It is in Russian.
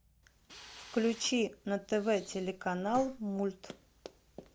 включи на тв телеканал мульт